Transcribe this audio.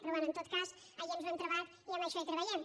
però bé en tot cas allí ens ho hem trobat i amb això treballem